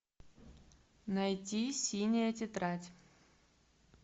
найди синяя тетрадь